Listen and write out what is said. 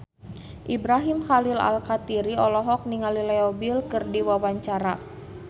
Ibrahim Khalil Alkatiri olohok ningali Leo Bill keur diwawancara